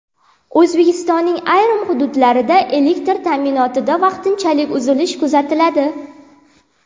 O‘zbekistonning ayrim hududlarida elektr ta’minotida vaqtinchalik uzilish kuzatiladi.